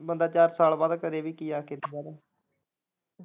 ਬੰਦਾ ਚਾਰ ਸਾਲ ਬਾਅਦ ਕਰੇ ਵੀ ਕੀ ਆ ਕੇ।